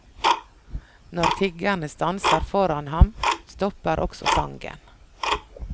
Når tiggerne stanser foran ham, stopper også sangen.